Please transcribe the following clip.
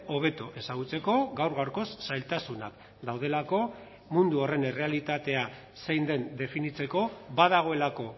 hobeto ezagutzeko gaur gaurkoz zailtasunak daudelako mundu horren errealitatea zein den definitzeko badagoelako